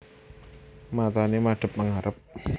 Matane madhep mangarep